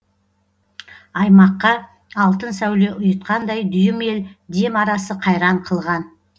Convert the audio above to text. аймаққа алтын сәуле ұйытқандай дүйім ел дем арасы қайран қылған